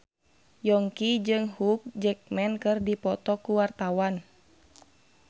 Yongki jeung Hugh Jackman keur dipoto ku wartawan